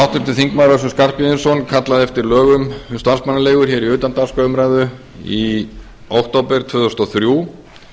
háttvirtur þingmaður össur skarphéðinsson kallaði eftir lögum um starfsmannaleigur í utandagskrárumræðu í október tvö þúsund og þrjú